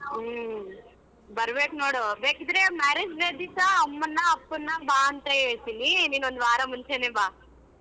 ಹ್ಮ್‌ ಬರಬೇಕ ನೋಡು ಬೇಕಿದ್ರೆ marriage day ದಿವ್ಸ ಅಮ್ಮನ್ನ ಅಪ್ಪನ್ನ ಬಾ ಅಂತ ಹೇಳ್ತೀನಿ ನಿನ್ ಒಂದುವಾರ ಮುಂಚೆನೆ ಬಾ.